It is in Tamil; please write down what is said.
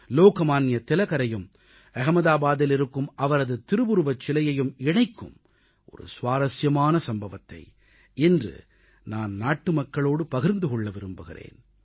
லோகமான்ய திலகரையும் அகமதாபாத்தில் இருக்கும் அவரது திருவுருவச் சிலையையும் இணைக்கும் சுவாரசியமான சம்பவத்தை இன்று நான் நாட்டு மக்களோடு பகிர்ந்து கொள்ள விரும்புகிறேன்